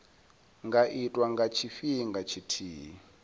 nga itwa nga tshifhinga tshithihi